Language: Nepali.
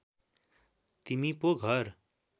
तिमी पो घर